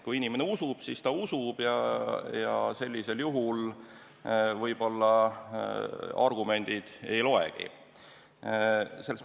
Kui inimene usub, siis ta usub, ja sellisel juhul argumendid võib-olla ei loegi.